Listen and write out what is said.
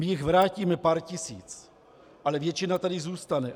My jich vrátíme pár tisíc, ale většina tady zůstane.